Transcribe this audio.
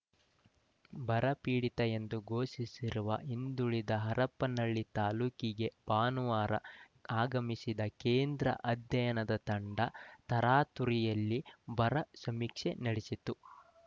ಬರ ಪೀಡಿತ ಎಂದು ಘೋಷಿಸಿರುವ ಹಿಂದುಳಿದ ಹರಪನಹಳ್ಳಿ ತಾಲೂಕಿಗೆ ಭಾನುವಾರ ಆಗಮಿಸಿದ ಕೇಂದ್ರ ಅಧ್ಯಯನದ ತಂಡ ತರಾತುರಿಯಲ್ಲಿ ಬರ ಸಮೀಕ್ಷೆ ನಡೆಸಿತು